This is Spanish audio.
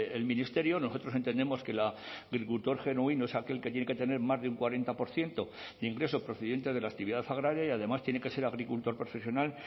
el ministerio nosotros entendemos que el agricultor genuino es aquel que tiene que tener más de un cuarenta por ciento de ingresos procedentes de la actividad agraria y además tiene que ser agricultor profesional